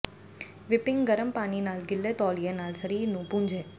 whipping ਗਰਮ ਪਾਣੀ ਨਾਲ ਗਿੱਲੇ ਤੌਲੀਏ ਨਾਲ ਸਰੀਰ ਨੂੰ ਪੂੰਝੇ